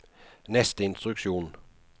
neste instruksjon